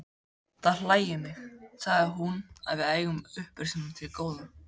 Það hlægir mig, sagði hún,-að við eigum upprisuna til góða.